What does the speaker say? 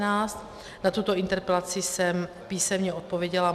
Na tuto interpelaci jsem písemně odpověděla.